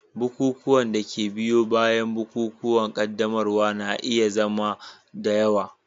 Bukukuwan da ke biyo bayan bukukuwan qaddamarwa na iya zama da yawa.